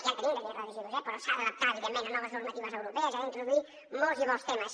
ja en tenim de llei de residus eh però s’ha d’adaptar evidentment a noves normatives europees s’hi han d’introduir molts i molts temes